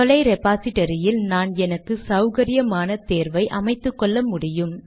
தொலை ரெபாசிடரியில் நான் எனக்கு சௌகரியமான தேர்வை அமைத்துக்கொள்ள முடியும்